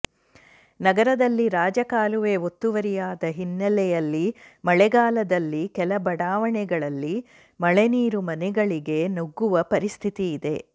ನಗರದಲ್ಲಿ ರಾಜಕಾಲುವೆ ಒತ್ತುವರಿಯಾದ ಹಿನ್ನೆಲೆಯಲ್ಲಿ ಮಳೆಗಾಲದಲ್ಲಿ ಕೆಲ ಬಡಾವಣೆಗಳಲ್ಲಿ ಮಳೆ ನೀರು ಮನೆಗಳಿಗೆ ನುಗ್ಗುವ ಪರಿಸ್ಥಿತಿಯಿದೆ